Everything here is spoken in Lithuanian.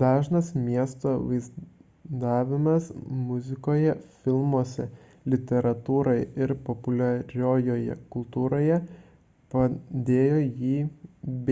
dažnas miesto vaizdavimas muzikoje filmuose literatūroje ir populiariojoje kultūroje padėjo jį